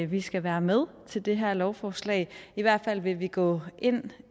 vi skal være med til det her lovforslag i hvert fald vil vi gå ind